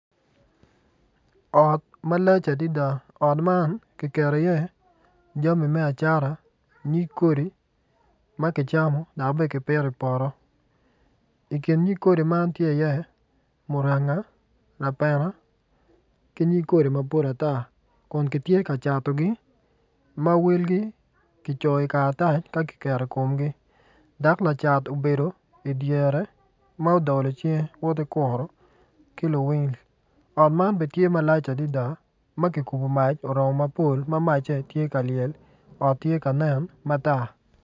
Ot malac adada ot man kiketo iye jami me acata nyig kodi ma kicamo dok bene kipito ipoto i kin nyig kodi man tye iye muranga lapena ki nyig kodi madwong ata kun kitye ka catogi ma welgi kicoyo i karatac ka kiketo i komgi dok lacat obedo idyere ma odolo cinge woti kuro ki luwil ot man bene tye malac adada ma kikubo mac oromo mapol ma macce tye ka lyel ot tye ka nen matar.